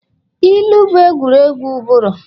ilu bụ egwuregwu ụbụrụ